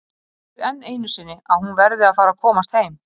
Og segir enn einu sinni að hún verði að fara að komast heim.